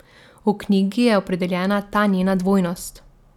V knjigi je opredeljena ta njena dvojnost.